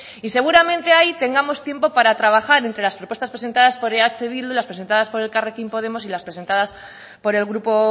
y seguramente ahí tengamos tiempo para trabajar entre las propuestas presentadas por eh bildu las presentadas por elkarrekin podemos y las presentadas por el grupo